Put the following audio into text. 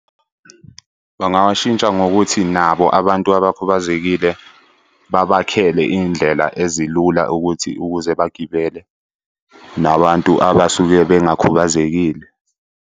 Bangawashintsha ngokuthi nabo abantu abakhubazekile babakhele iy'ndlela ezilula ukuthi ukuze bagibele nabantu abasuke bengakhubazekile.